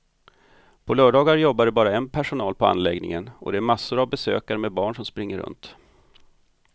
På lördagar jobbar det bara en personal på anläggningen och det är massor av besökare med barn som springer runt.